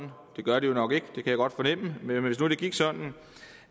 det gør det jo nok ikke det kan jeg godt fornemme